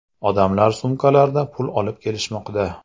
Odamlar sumkalarda pul olib kelishmoqda.